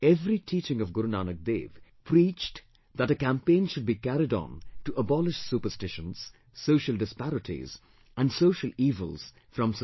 Every teaching of Guru Nanak Dev preached that a campaign should be carried on to abolish superstitions, social disparities and social evils from the society